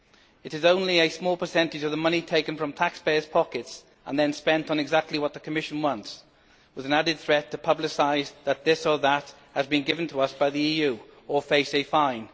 It is only a small percentage of the money taken from taxpayers' pockets and then spent on exactly what the Commission wants, with an added threat to publicise that this or that has been given to us by the EU or face a fine.